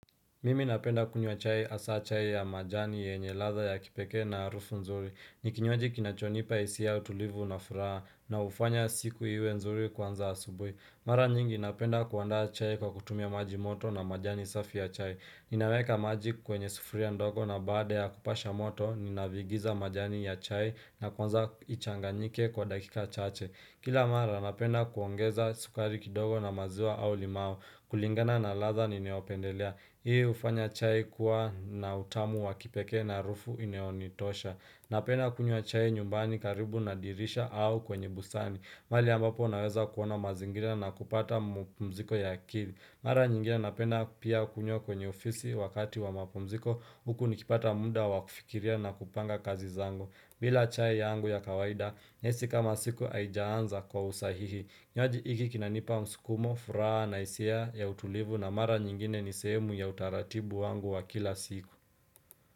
Mimi napenda kunywa chai hasa chai ya majani yenye ladha ya kipekee na harufu nzuri ni kinywaji kinachonipa hisia ya utulivu na furaha na hufanya siku iwe nzuri kwanza asubuhi Mara nyingi napenda kuandaa chai kwa kutumia maji moto na majani safi ya chai Ninaweka maji kwenye sufuria ndogo na baada ya kupasha moto Ninaviingiza majani ya chai na kwanza ichanganyike kwa dakika chache Kila mara napenda kuongeza sukari kidogo na maziwa au limau kulingana na ladha ninayopendelea hufanya chai kuwa na utamu wa kipekee na harufu inayonitosha. Napenda kunywa chai nyumbani karibu na dirisha au kwenye busani. Mahali ambapo naweza kuona mazingira na kupata mpumziko ya akili. Mara nyingine napenda pia kunywa kwenye ofisi wakati wa mapumziko. Huku nikipata muda wa kufikiria na kupanga kazi zangu. Bila chai yangu ya kawaida nyesi kama siku haijaanza kwa usahihi. Kinywaji hiki kinanipa msukumo, furaha na hisia ya utulivu na mara nyingine ni sehemu ya utaratibu wangu wa kila siku.